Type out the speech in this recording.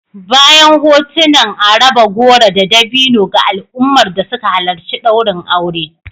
Bayan hotunan a raba goro da dabino ga al'ummar da suka halarci daurin aure